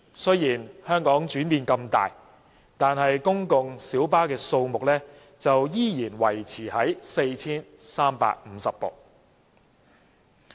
雖然香港的轉變那麼大，但公共小巴數目的上限卻仍然維持在 4,350 部。